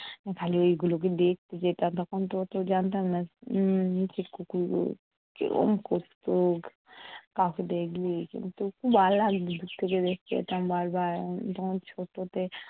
খালি এইগুলোকে দেখতে যেতাম, তখন তো অত জানতাম না উম নীচে কুকুরগুলো কীরম করতো কাউকে দেখলেই। কিন্তু খুব ভালো লাগতো দূর থেকে দেখতে যেতাম বার বার। তখন ছোটো তো